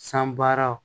San baaraw